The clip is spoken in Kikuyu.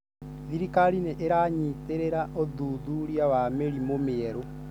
Thirikari nĩ ĩranyitĩrĩra ũthuthuria wa mĩrimũ mĩerũ.